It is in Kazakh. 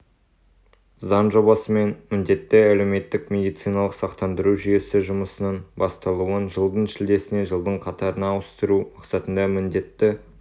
заң жобасымен міндетті әлеуметтік медициналық сақтандыру жүйесі жұмысының басталуын жылдың шілдесінен жылдың қаңтарына ауыстыру мақсатында міндетті